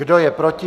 Kdo je proti?